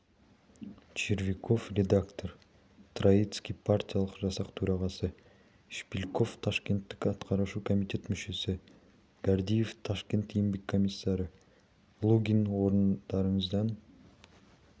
червяков редактор троицкий партиялық жасақ төрағасы шпильков ташкенттік атқарушы комитет мүшесі гордеев ташкент еңбек комиссары лугин орындарыңыздан